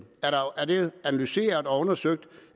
er det analyseret og undersøgt